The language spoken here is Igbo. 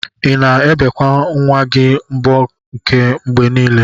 Ina ebekwa nwa gi mbo aka mgbe nile?